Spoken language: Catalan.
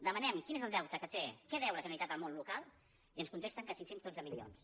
demanem quin és el deute que té què deu la generalitat al món local i ens contesten que cinc cents i dotze milions